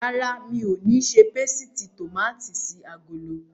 Rárá, mi ò ní ṣe pésìtì tòmátì sí agolo.